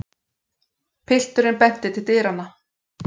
Pilturinn benti til dyranna.